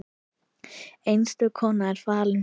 Einstök kona er fallin frá.